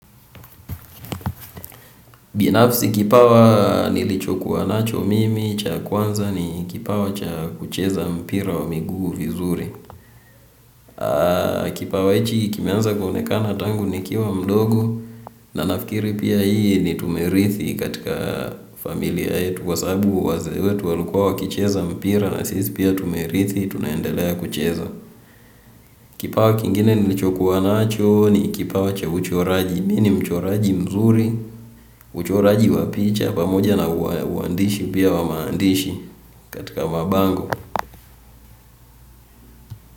Binafsi, kipawa nilichokuwa nacho cha kwanza ni kipawa cha kucheza mpira wa miguu vizuri. Kipawa hiki kimeanza kuonekana tangu nikiwa mdogo, na nafikiri pia hii ni tumerithi katika familia yetu. Kwa sabu wazee wetu walikuwa wakicheza mpira na sisi pia tumerithi tunaendelea kucheza. Kipawa kingine nilichokuwa nacho ni kipawa cha uchoraji. Mimi ni mchoraji mzuri, uchoraji wa picha, pamoja na uandishi pia wa maandishi katika mapango.